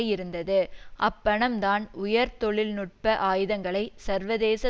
இருந்தது அப்பணம்தான் உயர் தொழில் நுட்ப ஆயுதங்களை சர்வதேச